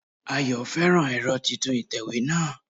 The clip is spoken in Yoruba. Ayọ̀ féràn ẹ̀rọ titun ìtẹ̀wé náà